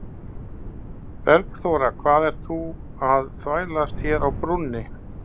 Bergþóra, hvað ert þú að þvælast hér á brúnni?